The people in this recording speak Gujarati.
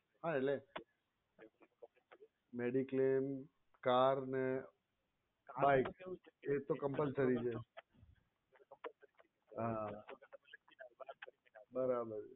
હા એટલે mediclaim car ને એતો compulsory છે હા બરાબર